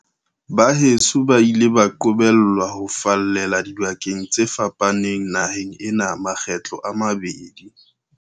Baheso ba ile ba qobellwa ho fallela dibakeng tse fa paneng naheng ena makgetlo a mabedi.